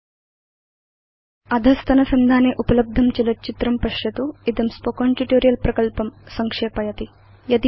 अधस्तनसंधाने उपलब्धं चलच्चित्रं पश्यतु httpspoken tutorialorgWhat is a spoken tutorial इदं स्पोकेन ट्यूटोरियल् प्रकल्पं संक्षेपयति